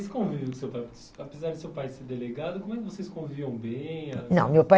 E esse convívio do seu pai? Apesar do seu pai ser delegado, como é que vocês conviviam bem? Não, meu pai